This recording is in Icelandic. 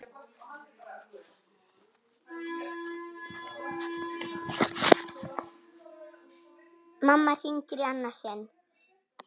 Mamma hringir í annað sinn.